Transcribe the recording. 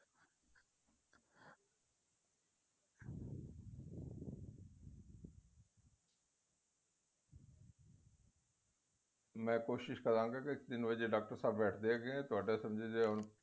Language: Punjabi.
ਮੈ ਕੋਸਿਸ਼ ਕਰਾਗਾ ਕਿ ਤਿੰਨ ਵਜੇ ਡਾਕਟਰ ਸਾਹਿਬ ਬੈਠਦੇ ਹੈਗੇ ਏ ਤੁਹਾਡਾ